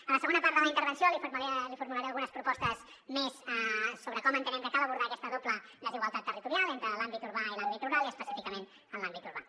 a la segona part de la intervenció li formularé algunes propostes més sobre com entenem que cal abordar aquesta doble desigualtat territorial entre l’àmbit urbà i l’àmbit rural i específicament en l’àmbit urbà